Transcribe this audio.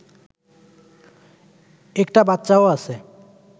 একটা বাচ্চাও আছে